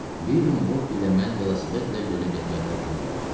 Bir gün Bobbi ilə mən velosipedlə gölə getməyə qərarına gəldik.